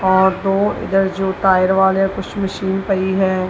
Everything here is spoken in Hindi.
और दो इधर जो टायर वाले कुछ मशीन पाई है।